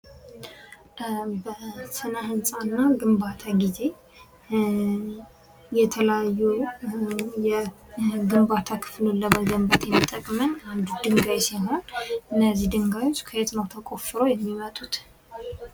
በስነ ህንፃና ግንባታ ጊዜ የተለያዩ የግንባታ ክፍሎች ለመገንባት የሚጠቅመን ድንጋይ ሲሆን, እነዚህ ድንጋዮች ከየት ነው ተቆፍረው የሚመጡት?